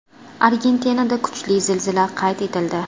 Argentinada kuchli zilzila qayd etildi.